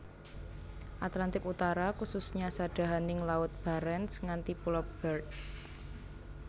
Atlantik Utara kususnya sadahaning Laut Barents nganti Pulo Beard